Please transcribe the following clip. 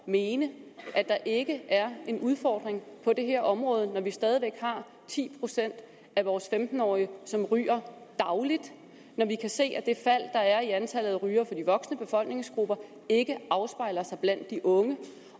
mene at der ikke er en udfordring på det her område når vi stadig væk har ti procent af vores femten årige som ryger dagligt og når vi kan se at det fald der er i antallet af rygere i de voksne befolkningsgrupper ikke afspejler sig blandt de unge